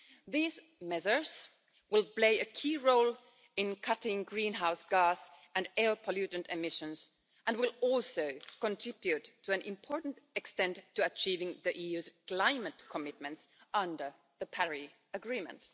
These measures will play a key role in cutting greenhouse gas and air pollutant emissions and will also contribute to an important extent to achieving the EU's climate commitments under the Paris Agreement.